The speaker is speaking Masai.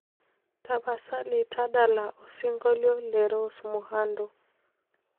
tapasali tadala osingolio le rose muhando